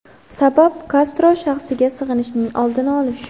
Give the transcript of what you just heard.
Sabab Kastro shaxsiga sig‘inishning oldini olish.